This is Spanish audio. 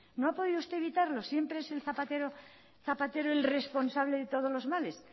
no ha podido usted evitar lo siempre es el zapatero el responsable de todos los males